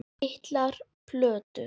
Litlar plötur